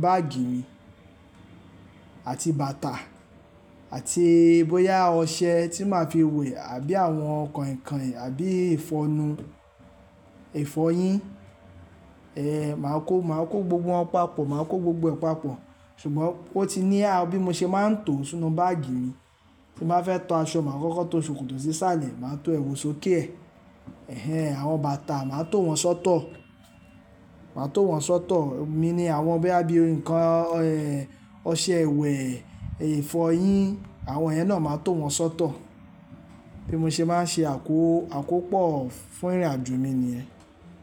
báàgì mi àti bàtà àti bóyá ọṣẹ tí máa fi wẹ̀ àbí àwọn koinkoin àbí ìfọnu, ìfọyín. Ẹ, màá kó, màá kó gbogbo wọn papọ̀, màá kó gbogbo ẹ̀ papọ̀. Ṣùgbọ́n ó ti ní, à, bí mo ṣe máa ń to sínú báàgì mi, tí bàá fẹ́ to aṣọ, màá kọ́kọ́ to ṣòkòtò sí isàlẹ̀, màá to èwù sókè e. Ẹ̀hẹn, àwọn bàtà, màá to wọn sọ́tọ̀, màá to wọn sọ́tọ̀. Emi ní àwọn boya bí i nǹkan, ẹ, ọṣẹ ìwẹ̀, ìfọyín àwọn iyen náà màá to wọn sọ́tọ̀. Bí mo ṣe máa ń ṣe àkó-- àkópò fún ìrìnàjò mi ni yẹ́n.